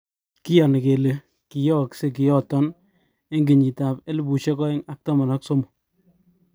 Kiyoni kele kiyoosek kiy yoton eng kenyitab 2013.